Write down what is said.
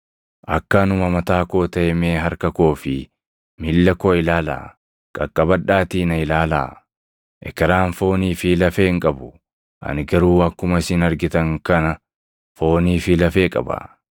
Akka anuma mataa koo taʼe mee harka koo fi miilla koo ilaalaa! Qaqqabadhaatii na ilaalaa; ekeraan foonii fi lafee hin qabu; ani garuu akkuma isin argitan kana foonii fi lafee qaba.”